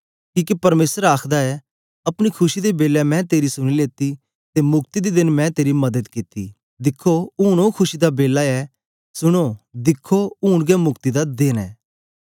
किके परमेसर आखदा ऐ अपनी खुशी दे बेलै मैं तेरी सुनी लेती ते मुक्ति दे देन मैं तेरी मदद कित्ती दिखो ऊन ओ खुशी दा बेला ऐ सुनो दिखो ऊन गै मुक्ति दा देन ऐ